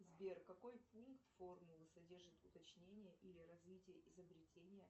сбер какой пункт формулы содержит уточнение или развитие изобретения